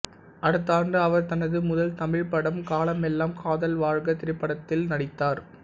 அடுத்த ஆண்டு அவர் தனது முதல் தமிழ் படம் காலமெல்லாம் காதல் வாழ்க திரைப்படத்தில் நடித்தார்